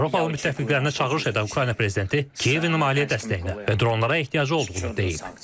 Avropalı müttəfiqlərinə çağırış edən Ukrayna prezidenti Kiyevin maliyyə dəstəyinə və dronlara ehtiyacı olduğunu deyib.